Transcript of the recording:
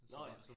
Nåh ja